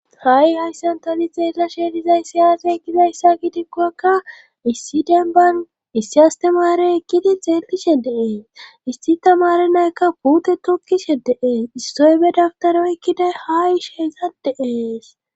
ha7i hayssan tani xeella sheelizay siyafe ekkidayssa gidikkowakka issi denban issi astemare ekkidi xeellishe deees issi tamare naykka puute tukishe deees istoybe daftaro ekkiday haa ish heza deees